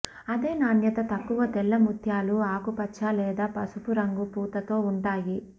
అదే నాణ్యత తక్కువ తెల్ల ముత్యాలు ఆకుపచ్చ లేదా పసుపు రంగు పూతతో ఉంటాయి